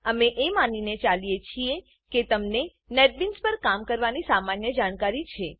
અમે એ માનીને ચાલીએ છીએ કે તમને નેટબીન્સ નેટબીન્સ પર કામ કરવાની સામાન્ય જાણકારી છે